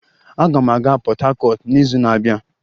Aga m aga Port Harcourt n'izu na-abịa